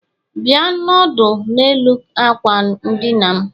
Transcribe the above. Bia nọdụ n'elu akwa n' dina'm